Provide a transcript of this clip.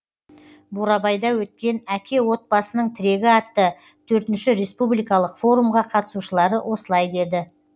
бурабайда өткен әке отбасының тірегі атты төртінші республикалық форумға қатысушылары осылай деді